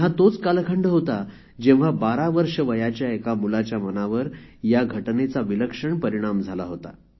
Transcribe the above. हा तोच कालखंड होता जेव्हा १२ वर्ष वयाच्या एका मुलाच्या मनावर या घटनेचा विलक्षण परिणाम झाला होता